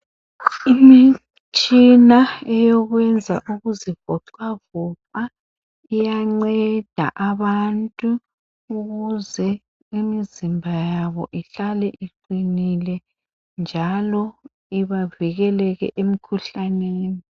Imitshina eyokwenza ukuzivoxavoxa iyanceda abantu ukuze imizimba yabo ihlale iqinile njalo ibavikeleke emikhuhlaneni.